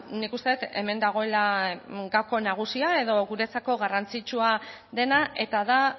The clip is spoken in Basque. nik uste dut hemen dagoela gako nagusia edo guretzako garrantzitsua dena eta da